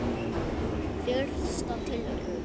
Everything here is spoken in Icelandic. Fyrsta tilraun